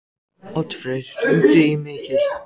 Oddfreyr, hringdu í Mikil.